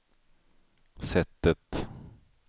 sättet